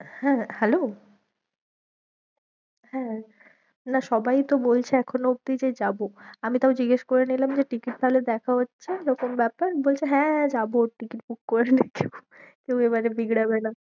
হ্যাঁ hello হ্যাঁ, না সবাই তো বলছে এখনও অবধি যে যাবো, আমি তাও জিগেস করে নিলাম, যে ticket তাহলে দেখা হচ্ছে, এরকম ব্যাপার, বলছে হ্যাঁ যাবো ticket book করে নিচ্ছে কেউ এবারে বিগড়াবে না।